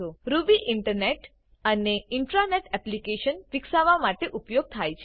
Ruby internet અને intranet applications વિકસાવવા માટે ઉપયોગ થાય છે